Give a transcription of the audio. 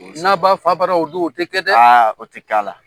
N'a b'a fa barara o don, o tɛ kɛ dɛ! aa o tɛ kɛ a la.